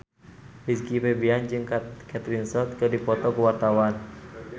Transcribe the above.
Rizky Febian jeung Kate Winslet keur dipoto ku wartawan